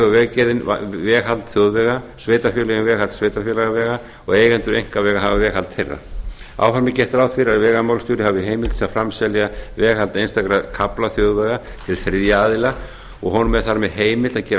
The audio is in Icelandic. hefur vegagerðin veghald þjóðvega sveitarfélögin veghald sveitarfélagavega og eigendur einkavega hafa veghald þeirra áfram er gert ráð fyrir að vegamálastjóri hafi heimild til að framselja veghald einstakra kafla þjóðvega til þriðja aðila og honum er þar með heimilt að gera